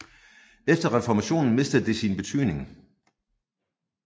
Efter reformationen mistede det sin betydning